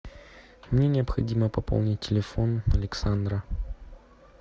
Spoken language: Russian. мне необходимо пополнить телефон александра